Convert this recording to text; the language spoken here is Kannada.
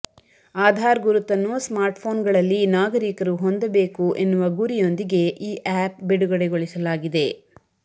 ಆಧಾರ್ ಗುರುತನ್ನು ಸ್ಮಾರ್ಟ್ಫೋನ್ಗಳಲ್ಲಿ ನಾಗರೀಕರು ಹೊಂದಬೇಕು ಎನ್ನುವ ಗುರಿಯೊಂದಿಗೆ ಈ ಆಪ್ ಬಿಡುಗಡೆಗೊಳಿಸಲಾಗಿದೆ